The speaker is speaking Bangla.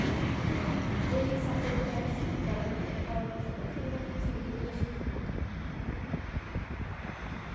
অ্যাঁ ওই subject গুলো আর কি স্কিপ করে হয়িত coronar সময় সুধু মাত্র theory গুলো সেখান হতো